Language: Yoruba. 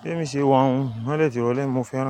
bí èmi ṣe wà òun, imọ́lẹ̀ ti ìrọ̀lẹ́ mo fẹ́ràn.